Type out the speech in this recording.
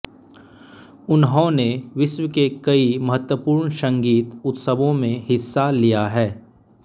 उन्होंने विश्व के कई मह्त्वपूर्ण संगीत उत्सवों में हिस्सा लिया है